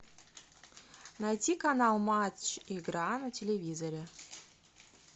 найди канал матч игра на телевизоре